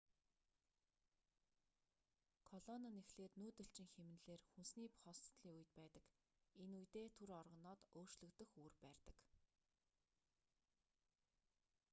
колони нь эхлээд нүүдэлчин хэмнэлээр хүнсний хосдолын үед байдаг энэ үедээ түр орогноод өөрчлөгдөх үүр барьдаг